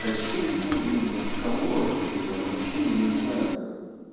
да чем его блин расколоть то я вообще не знаю